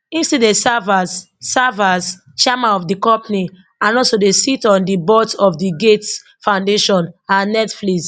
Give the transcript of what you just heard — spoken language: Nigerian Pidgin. im still dey serves as serves as chairman of di company and also dey sit on di boards of di gates foundation and netflix